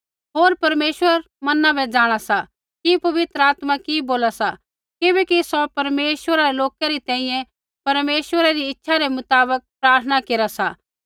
होर परमेश्वर मना बै जाँणा सा कि पवित्र आत्मा कि बोला सा किबैकि सौ परमेश्वरा रै लोका री तैंईंयैं परमेश्वरा री इच्छा रै मुताबक प्रार्थना केरा सा